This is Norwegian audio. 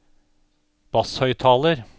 basshøyttaler